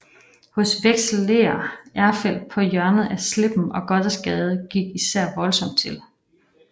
Hos vekselerer Erfeldt på hjørnet af Slippen og Gothersgade gik især voldsomt til